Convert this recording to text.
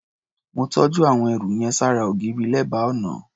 Mó tọ́jú àwọn ẹrù yẹn ṣára ògiri, lẹ́bàá ọnà.